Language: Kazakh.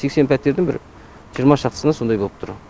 сексен пәтердің бір жиырма шақтысында сондай болып тұр